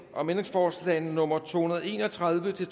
om ændringsforslag nummer to hundrede og en og tredive til